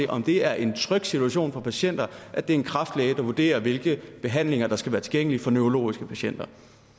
om det er en tryg situation for patienter at det er en kræftlæge der vurderer hvilke behandlinger der skal være tilgængelige for neurologiske patienter